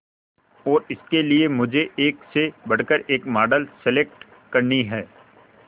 और इसके लिए मुझे एक से बढ़कर एक मॉडल सेलेक्ट करनी है